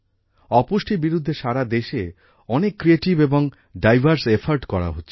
অপুষ্টির বিরুদ্ধে সারা দেশে অনেক ক্রিয়েটিভ এবং ডাইভার্স এফোর্ট করা হচ্ছে